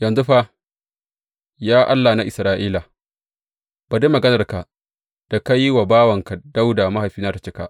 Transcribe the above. Yanzu fa, ya Allah na Isra’ila, bari maganarka da ka yi wa bawanka Dawuda mahaifina tă cika.